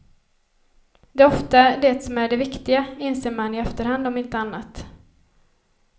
Det är ofta det som är det viktiga, inser man i efterhand om inte annat.